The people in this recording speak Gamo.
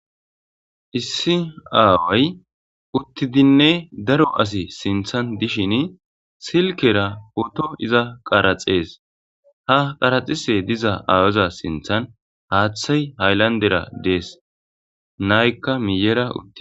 Issi aaway uttidinne daro asi sinththan dishin silkera poto izan qaraxees. Ha qaraxishe diza awaoza sinththan haaththey hayilandera dees. Naayikka miyyera uttides.